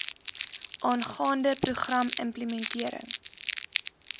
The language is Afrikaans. aangaande program implementering